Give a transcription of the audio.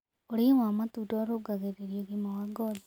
Ũrĩĩ wa matũnda ũrũngagĩrĩrĩa ũgima wa ngothĩ